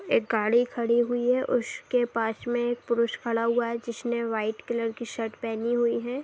एक गाड़ी खड़ी हुई है उसके पास में एक पुरुष खड़ा हुआ है जिसने व्हाइट कलर की शर्ट पहनी हुई है।